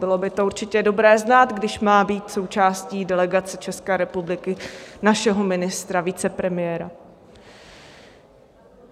Bylo by to určitě dobré znát, když má být součástí delegace České republiky, našeho ministra, vicepremiéra.